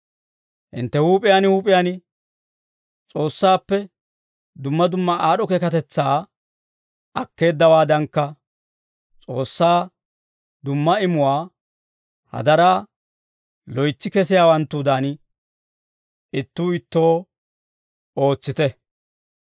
Hintte huup'iyaan huup'iyaan S'oossaappe dumma dumma aad'd'o keekatetsaa akkeeddawaadankka, S'oossaa dumma imuwaa hadaraa loytsi kesiyaawanttudan, ittuu ittoo ootsite.